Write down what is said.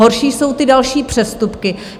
Horší jsou ty další přestupky.